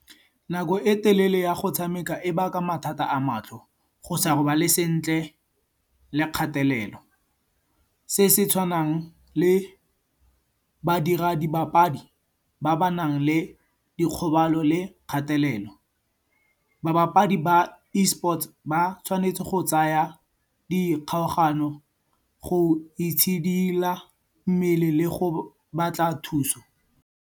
Nako e telele ya go tshameka e baka mathata a matlho, go sa robale sentle le kgatelelo. Se se tshwanang le badira dibapadi ba ba nang le dikgobalo le kgatelelo. Babapadi ba Esports ba tshwanetse go tsaya di kgaogano go itshidila mmele le go batla thuso.